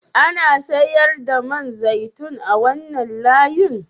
Ana sayar da man zaitun a wannan layin?